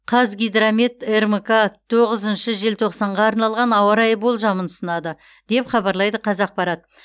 қазгидромет рмк тоғызыншы желтоқсанға арналған ауа райы болжамын ұсынады деп хабарлайды қазақпарат